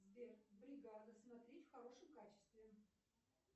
сбер бригада смотреть в хорошем качестве